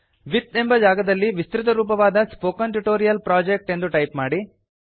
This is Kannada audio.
ವಿತ್ ಎಂಬ ಜಾಗದಲ್ಲಿ ವಿಸ್ತೃತರೂಪವಾದ ಸ್ಪೋಕನ್ ಟ್ಯೂಟೋರಿಯಲ್ ಪ್ರೊಜೆಕ್ಟ್ ಎಂದು ಟೈಪ್ ಮಾಡಿ